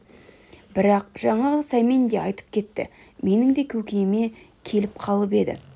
бірақ жаңағы сәмен де айтып кетті менің де көкейіме келіп қалып еді